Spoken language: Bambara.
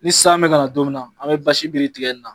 Ni san bɛ ka na don min na, an bɛ biri tigɛ in na.